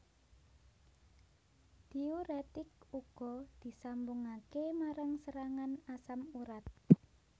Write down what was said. Diuretik uga disambungake marang serangan asam urat